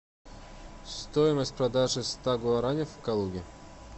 стоимость продажи ста гуарани в калуге